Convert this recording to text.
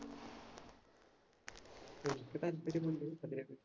എനിക്ക് താല്പര്യമുണ്ട് അതിനെ കുറിച്ച്